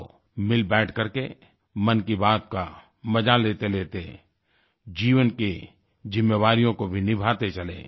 आओ मिल बैठ करके मन की बात का मजा लेतेलेते जीवन की जिम्मेदारियों को भी निभाते चलें